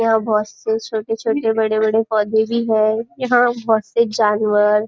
यहाँ बहुत से छोटे छोटे बड़े बड़े पोधे भी हैं यहाँ बहुत से जानवर --